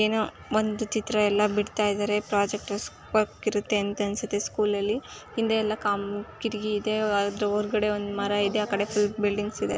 ಏನು ಒಂದು ಚಿತ್ರ ಅಲ್ಲಾ ಬಿಡ್ತ ಇದ್ದರೆ-- ಪೊರ್ಜೆಕ್ಟ್ ವರ್ಕ್ ಇರುತ್ತೆ ಅನ್ಸುತ್ತೆ. ಸ್ಕೂಲ ಲ್ಲಿ ಹಿಂದೆ ಎಲ್ಲಾ ಕಂ-ಕಿಟಾಕಿ ಇದೆ ಅದ್ರ ಒರಗಡೆ ಒಂದು ಮರ ಇದೆ ಅಕೆಡೆ ಎಲ್ಲ ಫುಲ್ ಬಿಲ್ಡಿಂಗ್ಸ್ ಇದೆ.